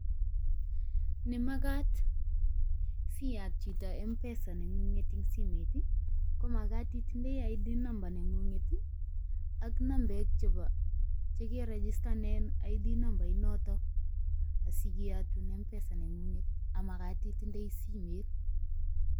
Nemagaat siyat chito M-Pesa neng'ung'et en simoit ii, komagat itindoi ID Number neng'ung'et ak nambek che keregistanen ID Number inoto asigeyotun M-Pesa neng'unget ak magat itindoi simet.